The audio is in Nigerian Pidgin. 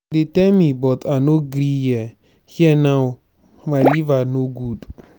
dey tell me but i no gree hear hear now my liver no good.